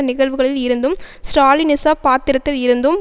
நிகழ்வுகளில் இருந்தும் ஸ்ராலினிச பாத்திரத்தில் இருந்தும்